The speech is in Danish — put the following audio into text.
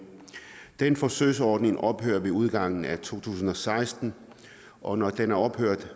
den forsøgsordning ophører ved udgangen af to tusind og seksten og når den er ophørt